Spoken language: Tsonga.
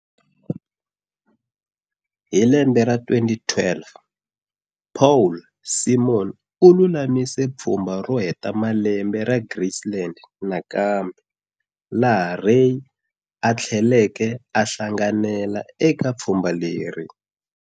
Hi lembe ra 2012, Paul Simon u lulamise pfumba ro heta malembe ra Graceland nakambe laha Ray atheleke a hlanganela eke pfumba leri.